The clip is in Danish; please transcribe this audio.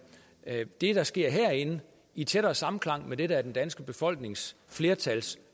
det der sker herinde i tættere samklang med det der er den danske befolknings flertals